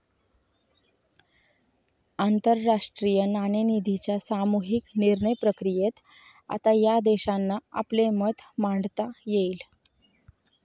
आंतरराष्ट्रीय नाणेनिधीच्या सामुहिक निर्णयप्रक्रियेत आता या देशांना आपले मत मांडता येईल.